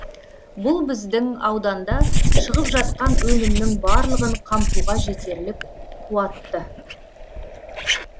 бұл біздің ауданда шығып жатқан өнімнің барлығын қамтуға жетерлік қуатты